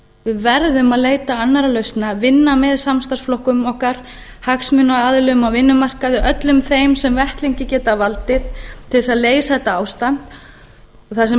við verðum að leita annarra lausna vinna með samstarfsflokkunum okkar hagsmunaaðilum á vinnumarkaði öllum þeim sem vettlingi geta valdið til þess að leysa þetta ástand það sem